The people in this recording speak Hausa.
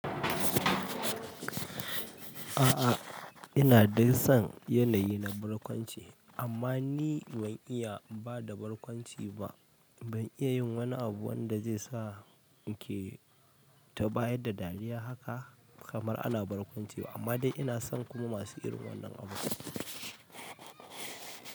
A'a, ina dai son yanayi na barkwanci amma ni ban iya ba da barkwanci ba. Ban iya yin wani abu wanda zai sa nake ta bayar da dariya haka kamar ana barkwancewa amma dai ina son kuma masu irin wannan abu.